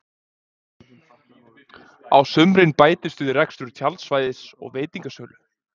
Á sumrin bætist við rekstur tjaldsvæðis og veitingasölu.